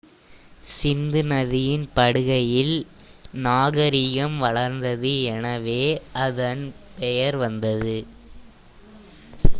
சிந்து நதியின் படுகையில் நாகரிகம் வளர்ந்தது எனவே அதன் பெயர் வந்தது